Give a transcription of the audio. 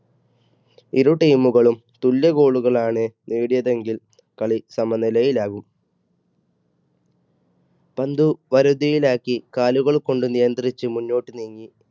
ഇരു team കളും തുല്യ goal കൾ ആണ് നേടിയതെങ്കിൽ കളി സമനിലയിൽ ആകും, പന്ത് വരുതിയിലാക്കി കാലുകൾ കൊണ്ട് നിയന്ത്രിച്ച് മുന്നോട്ട് നീങ്ങി